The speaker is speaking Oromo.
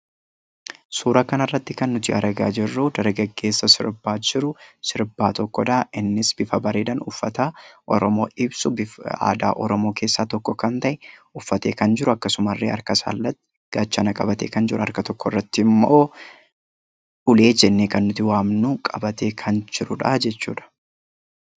Suuraa kanarratti kan nuti argaa jirru dargaggeessa sirbaa jiru tokkodha. Innis bifa bareedaan uffata aadaa oromoo ibsu kan oromoo keessaa tokko kan ta'e uffatee kan jiru; akkasumallee harkatti gaachana qabatee kan jiru, harka tokkorrattimmoo ulee jennee kan nuti waamnu qabatee kan jirudha jechuudha.